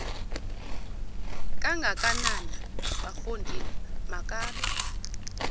kangakanana bafondini makabe